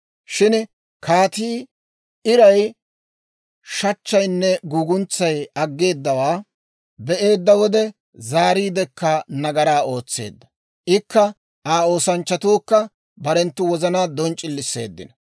Shin kaatii iray, shachchaynne guguntsay aggeedawaa be'eedda wode zaariiddekka nagaraa ootseedda; ikka Aa oosanchchatuukka barenttu wozanaa donc'c'ilisseeddino.